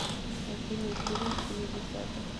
афина фильм семидесятых